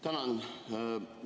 Tänan!